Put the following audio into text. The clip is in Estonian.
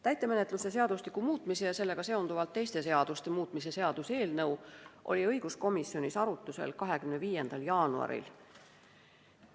Täitemenetluse seadustiku muutmise ja sellega seonduvalt teiste seaduste muutmise seaduse eelnõu oli õiguskomisjonis arutlusel 25. jaanuaril.